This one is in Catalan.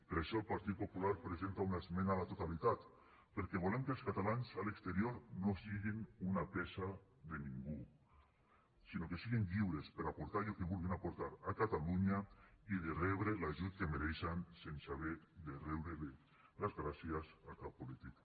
per això el partit popular presenta una esmena a la totalitat perquè volem que els catalans a l’exterior no siguin una peça de ningú sinó que siguin lliures per a aportar allò que vulguin aportar a catalunya i de rebre l’ajut que mereixen sense haver de riure les gràcies a cap polític